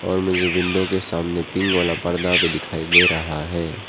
और मुझे विंडो के सामने पिंक वाला पर्दा भी दिखाई दे रहा है।